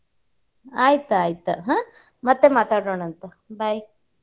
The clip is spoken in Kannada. ಆಯ್ತ್, ಆಯ್ತ್ ಹ್ಮ ಮತ್ತೆ ಮಾತಾಡೋಣಂತ bye .